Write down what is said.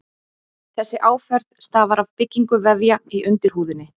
Þessi áferð stafar af byggingu vefja í undirhúðinni.